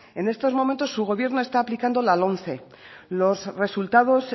en estos momentos su gobierno está aplicando la lomce los resultados